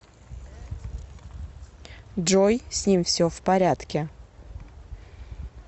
джой с ним все в порядке